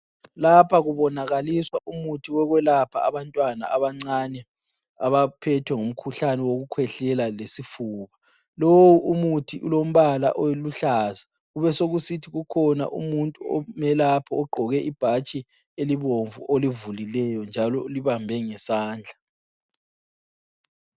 Lapha kubonakaliswa umuthi wokwelapha abantwana abancane abaphethwe ngumkhuhlane wokukhwehlela lesifuba. Lowu umuthi ulombala oluhlaza. Kubesokusithi ukhona umuntu omelapho ogqoke ibhatshi elibomvu olivulileyo njalo ulibambe ngesandla.